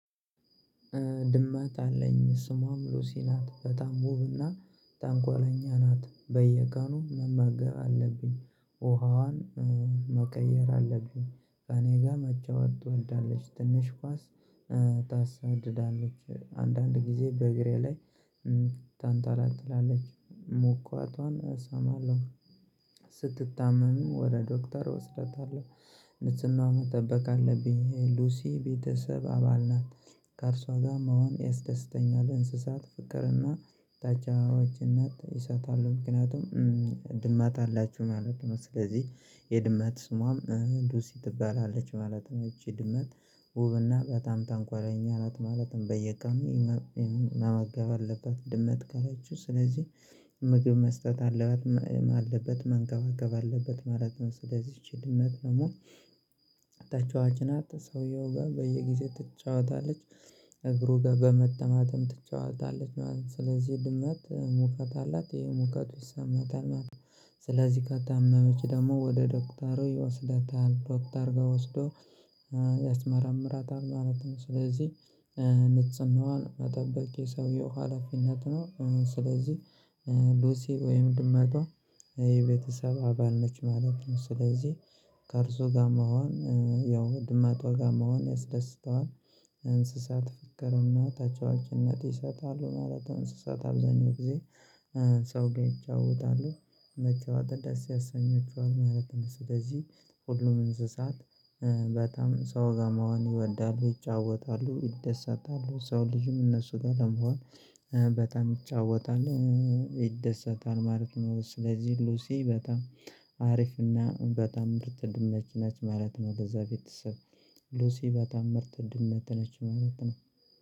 ድመት አለኝ ስሟም ሉሲ ናት በጣም ውብና ተንኮለኛ ናት። በየቀኑ መመገብ አለብኝ ውሃዋን መቀየር አለብኝ። ከእኔ ጋር መጫወት ትወዳለች ትንሽ ኳስ። ታሳድዳለች አንዳንድ ጊዜ በእግሬ ላይ ታንጠለጥላለች ሙቀቷን እሰማለሁ። ስትታመም ወደ ዶክተር ወስደታለሁ። ንጽህና መጠበቅ አለብኝ ሉሲ ቤተሰብ አባል ናት። ከእርሷ ጋር መሆን ያስደስተኛል እንስሳት ፍቅርና ታጫዋችነት ይሰጣሉ። ምክንያቱም ድመት አላችሁ ማለት ነው። ስለዚህ የድመት ስሟም ሉሲ ትባላለች ማለት ነው። ይቺ ድመት ውብና በጣም ተንኮለኛ ናት። ማለትም በየቀኑ መገብ አለበት። ድመት ካላችው ስለዚህ ምግብ መስጠት አለባት አለበት መንከባከብ አለበት ማለት ነው። ስለዚህ ይቺ ድመት ደግሞ ተጫዋች ናት። ሰውየው ጋር በየጊዜው ትጫወታለች። እግሩ ጋር በመጠማጠም ትጫወታለች ማለት ነው። ስለዚህ ድመት ሙቀት አላት ይሄ ሙቀቱ ይሰማታል ማለት። ስለዚህ ከታመመች ደግሞ ወደ ዶክተሩ ይወስዳታል። ዶክተር ጋር ወስዶ ማለት ነው። ስለዚህ ንጽህናዋን መጠበቅ የሰውየው ሀላፊነት ነው። ስለዚህ ሉሲ ወይም ድመቷ የቤተሰብ አባል ነች ማለት ነው። ስለዚህ ከእርሱ ጋር መሆን ያው ድመቷ ጋር መሆን ያስደስተዋል። እንስሳት ፍቅርና ተጫዋችነት ይሰጣሉ ማለት እንስሳት አብዛኛው ጊዜ ሰው ይጫወታሉ። መጫወት ደስ ያሰኛችኋል ማለት ነው። ስለዚህ ሁሉም እንስሳት በጣም ሰው ጋር መሆን ይወዳሉ ይጫወታሉ ይደሰታሉ። ሰው ልጅም እነሱ ጋር ለመሆን በጣም ይጫወታል ይደሰታል ማለት ነው። ስለዚህ ሉሲ በጣም አሪፍና በጣም ምርጥ ድመት ነች ማለት ነው። ለዛ ቤተሰብ ሉሲ በጣም ምርጥ ድመትት ነች ማለት ነው።